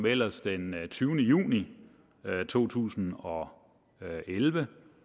ellers den tyvende juni to tusind og elleve